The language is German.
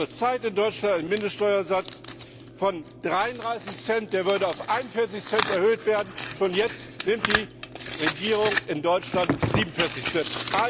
Wir haben zur Zeit in Deutschland einen Mindeststeuersatz von 33 Cent, der würde auf 41 Cent erhöht werden, aber schon jetzt nimmt die Regierung in Deutschland 47 Cent.